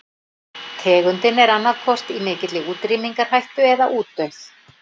Tegundin er annaðhvort í mikilli útrýmingarhættu eða útdauð.